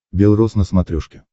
белрос на смотрешке